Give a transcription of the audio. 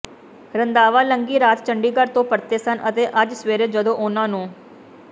ਰੰਧਾਵਾ ਲੰਘੀ ਰਾਤ ਚੰਡੀਗੜ੍ਹ ਤੋਂ ਪਰਤੇ ਸਨ ਅਤੇ ਅੱਜ ਸਵੇਰੇ ਜਦੋਂ ਉਨ੍ਹਾਂ ਨੂੰ